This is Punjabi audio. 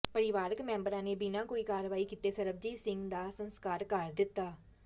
ਪਰਿਵਾਰਕ ਮੈਂਬਰਾਂ ਨੇ ਬਿਨਾਂ ਕੋਈ ਕਾਰਵਾਈ ਕੀਤੇ ਸਰਬਜੀਤ ਸਿੰਘ ਦਾ ਸਸਕਾਰ ਕਰ ਦਿੱਤਾ